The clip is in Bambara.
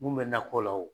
Mun bɛ nakɔ la o